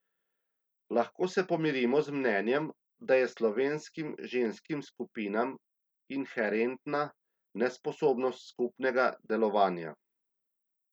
Lahko se pomirimo z mnenjem, da je slovenskim ženskim skupinam inherentna nesposobnost skupnega delovanja.